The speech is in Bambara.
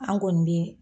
An kɔni bɛ